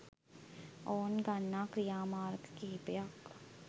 ඔවුන් ගන්නා ක්‍රියාමාර්ග කිහිපයක්